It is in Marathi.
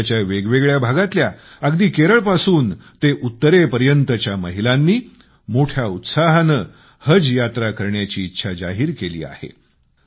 देशाच्या वेगवेगळ्या भागातल्या अगदी केरळपासून ते उत्तरेपर्यंतच्या महिलांनी मोठ्या उत्साहाने हज यात्रा करण्याची इच्छा जाहीर केली आहे